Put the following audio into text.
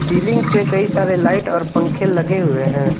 Ceiling पर कई सारे लाइट और पंखे लगे हुए हैं।